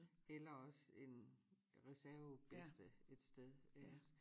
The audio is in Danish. Eller også en reserve bedste et sted iggås